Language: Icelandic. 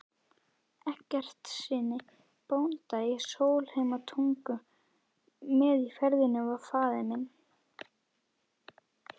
Eggertssyni bónda í Sólheimatungu, með í ferðinni var faðir minn